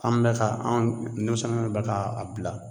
An bɛ ka anw denmisɛnninw bɛ ka a bila